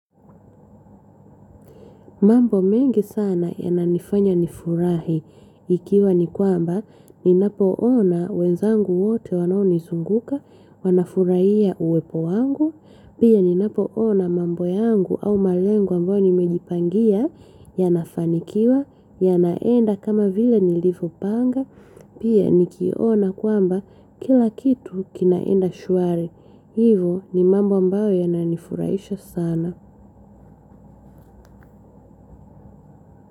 Mambo mengi sana yananifanya nifurahi, ikiwa ni kwamba ninapoona wenzangu wote wanaonizunguka, wanafurahia uwepo wangu, pia ninapoona mambo yangu au malengo ambao nimejipangia, yanafanikiwa, yanaenda kama vile nilivopanga, pia nikiona kwamba kila kitu kinaenda shwari, hivo ni mambo ambayo yananifurahisha sana.